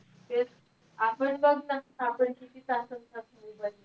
तेच. आपण बघ ना. आपण किती तास असतात mobile वर.